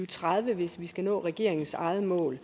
tredive hvis vi skal nå regeringens eget mål